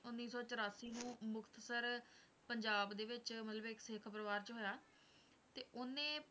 ਉੱਨੀ ਸੌ ਚੁਰਾਸੀ ਨੂੰ ਮੁਕਤਸਰ ਪੰਜਾਬ ਦੇ ਵਿੱਚ ਮਤਲਬ ਇੱਕ ਸਿੱਖ ਪਰਿਵਾਰ 'ਚ ਹੋਇਆ, ਤੇ ਉਹਨੇ,